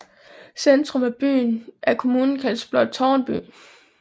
Centrum af kommunen kaldes blot Tårnby